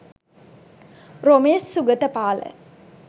romesh sugathapala